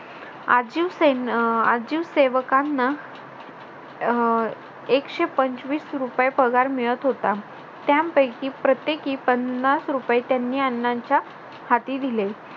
आजीव सेव अं आजीव सेवकांना अह एकशेपंचवीस रुपये पगार मिळत होता. त्यांपैकी प्रत्येकी पन्नास रुपये त्यांनी अण्णांच्या हाती दिले.